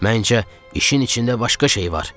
Məncə, işin içində başqa şey var.